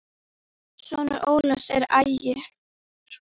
Sonur Ólafs er Ægir.